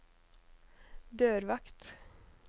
dørvakt